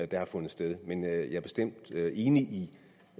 der har fundet sted men jeg er bestemt enig